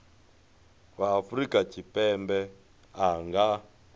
wa afrika tshipembe a nga